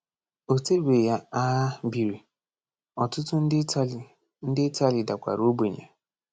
O tebeghị agha biri, ọtụtụ ndị Italy ndị Italy dakwara ogbenye.